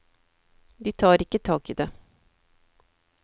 De tar ikke tak i det.